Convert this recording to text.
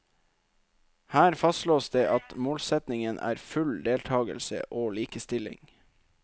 Her fastslås det at målsetningen er full deltagelse og likestilling.